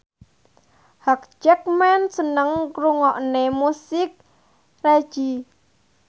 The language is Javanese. Hugh Jackman seneng ngrungokne musik reggae